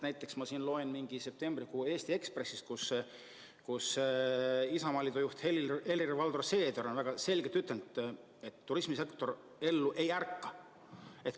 Näiteks ma lugesin üht septembrikuu Eesti Ekspressi, kus Isamaa juht Helir-Valdor Seeder väga selgelt ütles, et turismisektor ellu ei ärka.